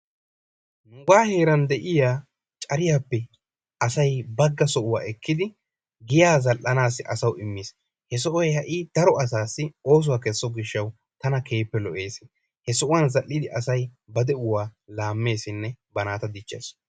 Nugaa heeran de'iyaa caariyaappe asay baagga sohuwa ekkidi giyaa zal"anaassi asawu immiis. He soohoy ha'i daro asaasi oosuwaa kesso giishshawu tana keehippe lo"ees. He sohuwaan zaal"idi asay ba de"uwaa laammeesinne ba naata diichchees.